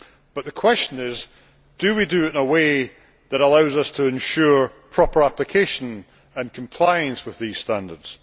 But the question is do we do it in a way that allows us to ensure proper application and compliance with these standards?